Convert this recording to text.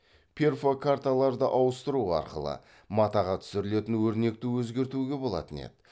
перфокарталарды ауыстыру арқылы матаға түсірілетін өрнекті өзгертуге болатын еді